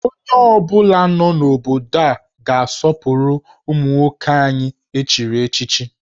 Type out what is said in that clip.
Onye ọ bụla nọ n'obodo a ga-asọpụrụ ụmụ nwoke anyị echiri echichi